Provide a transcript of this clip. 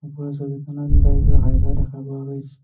ওপৰৰ ছবিখনত বাইক ৰখাই থোৱা দেখা পোৱা গৈছ --